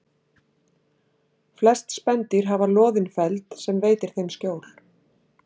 Flest spendýr hafa loðinn feld sem veitir þeim skjól.